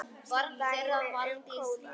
Dæmi um kóða